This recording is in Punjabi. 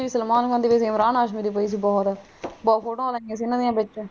ਸਲਮਾਨ ਖਾਨ ਦੀ ਇਮਰਾਨ ਹਾਸ਼ਮੀ ਦੀ ਪਈ ਸੀ ਬਹੁਤ photo ਵਾਂ ਲਗਿਆ ਸੀ ਇਹਨਾਂ ਦੀ ਵਿੱਚ।